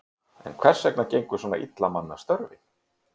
En hvers vegna gengur svona illa að manna störfin?